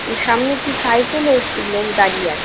সামনে একটি সাইকেল এ একটি লোক দাঁড়িয়ে আছে।